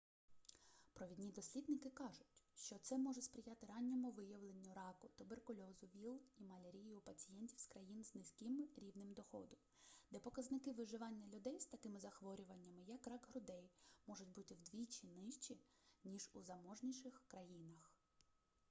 провідні дослідники кажуть що це може сприяти ранньому виявленню раку туберкульозу віл і малярії у пацієнтів з країн з низьким рівнем доходу де показники виживання людей з такими захворюваннями як рак грудей можуть бути вдвічі нижчі ніж у заможніших країнах